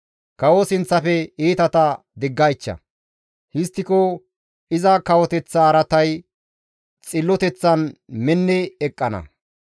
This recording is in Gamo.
Kawo sinththafe iitata diggaycha; histtiko iza kawoteththa araatay xilloteththan minni eqqana.